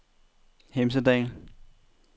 Hemsedal